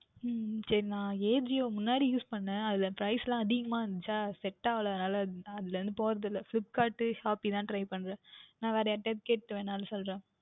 உம் உம் சரிநான் Ajio முன்னாடி Use பன்னினேன் அதில் Price லாம் அதிகமாக இருந்தது Set ஆகவில்லை அதனால் அதில் போகின்றது இல்லை FlipkartShopee தான் Try பண்ணுகின்றேன் நான் வேறுயாராவுது கிட்ட கேற்று வேன்றுமென்றாலும் சொல்லுகின்றேன்